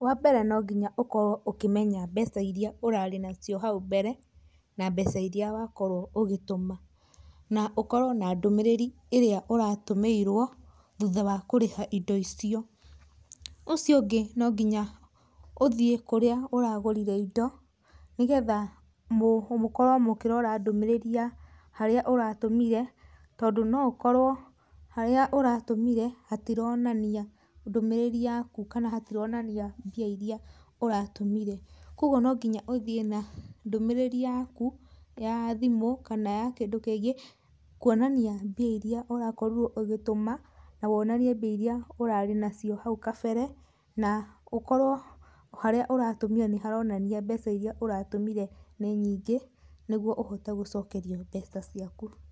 Wambere nonginya ũkorwo ũkĩmenya mbeca iria ũrare nacio hau mbere na mbeca iria wakorwo ũgĩtũma na ũkorwo na ndũmĩrĩrĩ ĩrĩa ũratũmĩirwo thutha wa kũrĩha indo icio, ũcio ũngĩ nongiya ũthiĩ kũrĩa ũragũrire indo nĩgetha mũkorwe mũkĩrora ndũmĩrĩri ya harĩa ũratũmire tondu oũkorwo harĩa ũratũmire hatironania ndũmĩrĩri yaku kana hatironania mbia irĩa ũratũmire, kwoguo nongiya ũthiĩ na ndũmĩrĩri yaku ya thimũ kana ya kĩndũ kĩngĩ kwonania mbia irĩa ũrakorire ũgĩtũma na wonanie mbia irĩa ũrarĩ nacio hau kabere na ũkorwo harĩa ũratũmire nĩharonania mbeca irĩa ũratũmire nĩ nyingĩ nĩguo ũhote gũcokerio mbeca ciaku.